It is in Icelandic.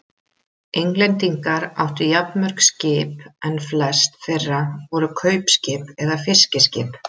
Englendingar áttu jafnmörg skip en flest þeirra voru kaupskip eða fiskiskip.